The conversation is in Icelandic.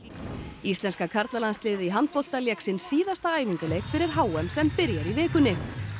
íslenska karlalandsliðið í handbolta lék sinn síðasta æfingaleik fyrir h m sem byrjar í vikunni